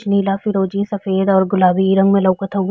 छ नीला फिरोज़ी सफ़ेद और गुलाबी रंग में लउकत हउ --